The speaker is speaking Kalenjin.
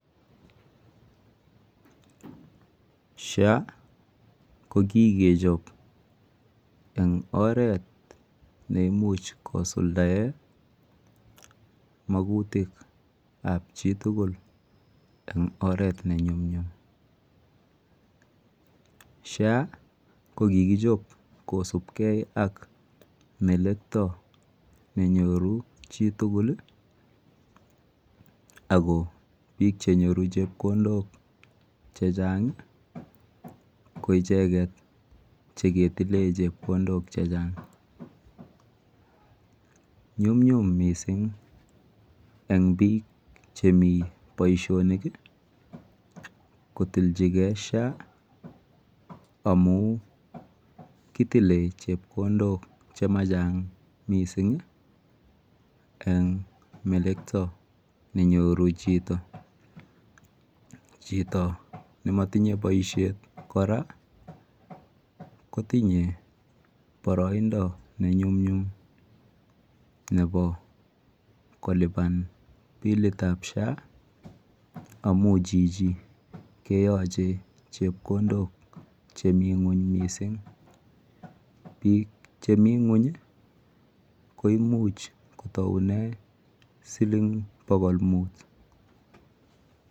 SHA ko kikechop eng' oret ne imuch kosuldaen mskutik ap chi tugul en oret ne nyumnyum. SHA ko kikichop kosupgei ak melekta ne nyoru chi tugul ,ako piik che nyoru chepkondok che chang' ko icheget che ketile chepkondok che chang'. Nyumnyum missing' eng' piik chemi poishonik kotilchigei SHA amu kitile chepkondok che ma chang' eng melekta ne nyoru chito. Chito ne matinye poishet kora kotinye paraindo ne nyumnyum nepa kolipan pilit ap SHA amu chichi keyache chepkondok chemi ng'uny missing'. Piik chemi ng'uny ko imuch kotaune siling pokol mut.